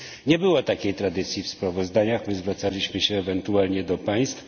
Nie było takiej tradycji w sprawozdaniach, my zwracaliśmy się ewentualnie do państw.